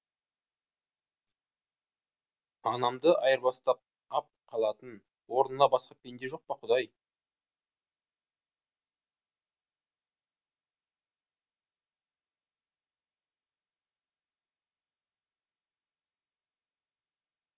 анамды айырбастап ап қалатын орнына басқа пенде жоқ па құдай